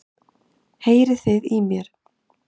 Heyriði í mér?